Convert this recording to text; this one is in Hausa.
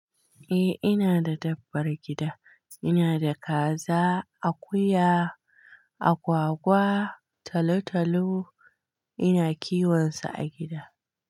Eh ina da dabbar gida, ina da kaza, akuya, agwagwa, talotalo ina kiwon su a gida.